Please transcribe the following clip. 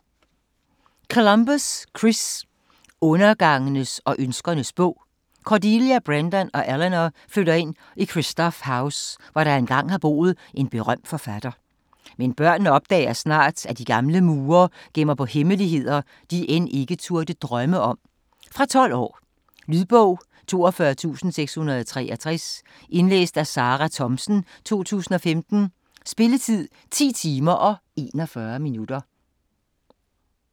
Columbus, Chris: Undergangens og ønskernes bog Cordelia, Brendan og Eleanor flytter ind i Kristoff House, hvor der engang har boet en berømt forfatter. Men børnene opdager snart, at de gamle mure gemmer på hemmeligheder de end ikke turde drømme om. Fra 12 år. Lydbog 42663 Indlæst af Sarah Thomsen, 2015. Spilletid: 10 timer, 41 minutter.